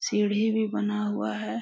सीढ़ी भी बना हुआ है।